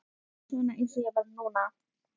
En varstu ekki að fá þér bjór eða eitthvað?